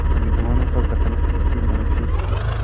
कुछ विद्वानों का कथन है कि मनुष्य की